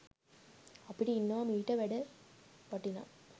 අපිට ඉන්නවා මීට වැඩ වටිනා